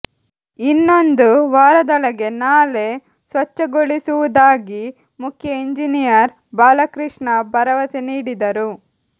ಇನ್ನೊಂದು ವಾರದೊಳಗೆ ನಾಲೆ ಸ್ವಚ್ಛತೆಗೊಳಿಸುವುದಾಗಿ ಮುಖ್ಯ ಇಂಜಿನಿಯರ್ ಬಾಲಕೃಷ್ಣ ಭರವಸೆ ನೀಡಿದರು